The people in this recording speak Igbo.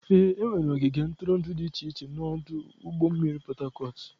Ee, enwere ogige ntụrụndụ dị iche iche na ọdụ ụgbọ mmiri Harcourt.